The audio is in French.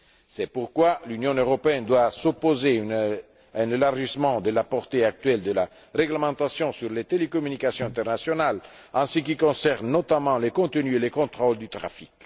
C'est pourquoi l'Union européenne doit s'opposer à un élargissement de la portée actuelle de la réglementation sur les télécommunications internationales en ce qui concerne, notamment, les contenus et les contrôles du trafic.